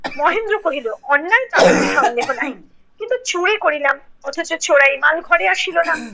মহেন্দ্র কহিলো অন্যায় তাহার আর সন্দেহ নাই। কিন্তু চুরি করিলাম অথচ চোরাই মাল ঘরে আসিলো না